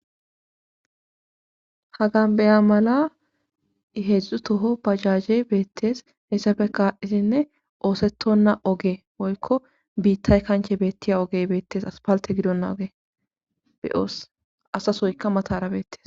hagan beya mala heedzdzu toho bajaje beettees hessafe kaaisinne oosetonna oge woykko biittay kanche beettiya ogey beettes aspalte gidonna oge be ooss asasoyka matara beettes